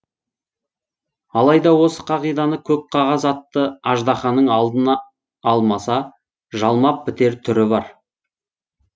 алайда осы қағиданы көк қағаз атты аждаханың алдына алмаса жалмап бітер түрі бар